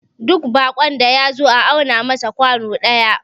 duk bakon da ya zo a auna masa kwano daya